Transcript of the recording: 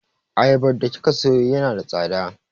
Ayabar da kika sayo yana da tsada.